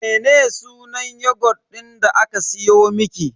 Mene sunan yogut din da aka siyo miki?